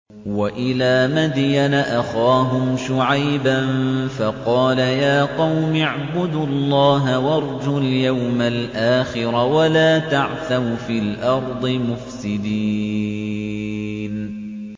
وَإِلَىٰ مَدْيَنَ أَخَاهُمْ شُعَيْبًا فَقَالَ يَا قَوْمِ اعْبُدُوا اللَّهَ وَارْجُوا الْيَوْمَ الْآخِرَ وَلَا تَعْثَوْا فِي الْأَرْضِ مُفْسِدِينَ